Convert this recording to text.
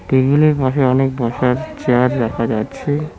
টেবিলের পাশে অনেক বসার চেয়ার দেখা যাচ্ছে।